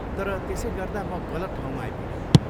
तर त्यसै गर्दा म गलत ठाउँमा आइपुगेँ।